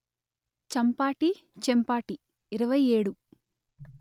చంపాటి చెంపాటి ఇరవై ఏడు